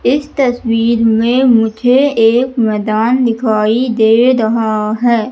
इस तस्वीर में मुझे एक मैदान दिखाई दे रहा है।